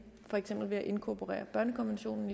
for eksempel ved at inkorporere børnekonventionen